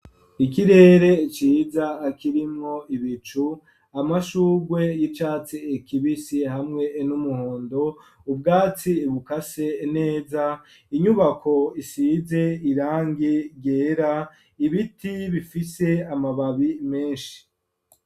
Ikirere ciza, kirimwo ibicu, amashurwe y'icatsi kibisi, hamwe n'umuhondo, ubwatsi bukase neza, inyubako isize irangi ryera, ibiti bifise amababi menshi.